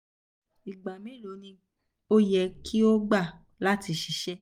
igba melo ni o yẹ ki o gba lati um ṣiṣẹ??